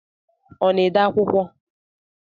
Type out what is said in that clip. Ọ na-ede akwụkwọ?